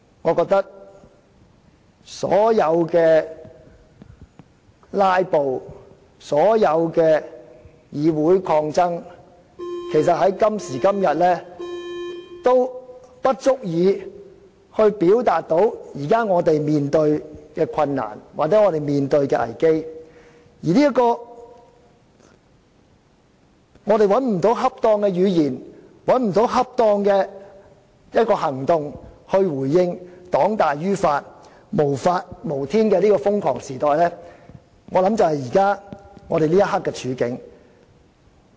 我覺得所有"拉布"、議會抗爭在今時今日已不足以表達我們現正面對的困難或危機，我們找不到恰當的語言、行動來回應黨大於法、無法無天的瘋狂時代，我想這就是我們此刻的處境。